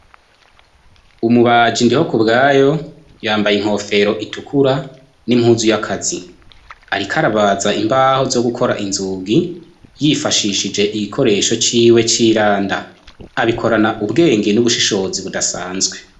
Umubaja indiho ku bwayo yambaye inkofero itukura n'impuzu y'akazi, ariko arabaza imbaho zo gukora inzugi yifashishije igikoresho ciwe c'iranda abikorana ubwenge n'ubushishozi budasanzwe.